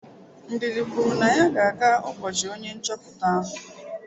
Ndidi kwuru na ya ga-aga ubochi onye nchoputa ahụ.